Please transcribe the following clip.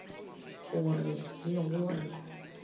go re le go re